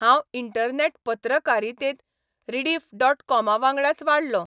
हांव इंटरनॅट पत्रकारितेंत रिडिफ.कॉमावांगडाच वाडलों.